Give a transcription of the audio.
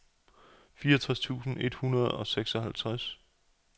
fireoghalvtreds tusind et hundrede og seksoghalvtreds